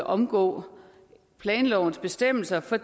omgå planlovens bestemmelser for